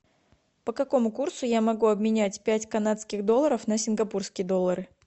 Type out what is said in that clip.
по какому курсу я могу обменять пять канадских долларов на сингапурские доллары